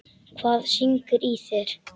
Hvað syngur í þér?